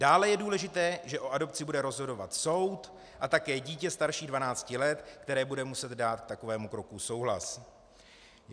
Dále je důležité, že o adopci bude rozhodovat soud a také dítě starší 12 let, které bude muset dát k takovému kroku souhlas.